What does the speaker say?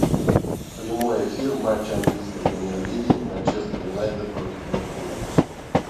прямой эфир матча английской премьер лиги манчестер юнайтед против ливерпуля